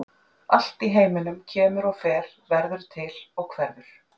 Allt í heiminum kemur og fer, verður til og hverfur.